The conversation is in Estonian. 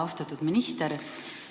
Austatud minister!